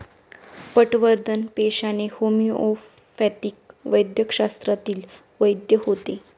पटवर्धन पेशाने होमिओपॅथिक वैद्यकशास्त्रातील वैद्य होते.